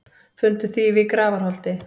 Fundu þýfi í Grafarholti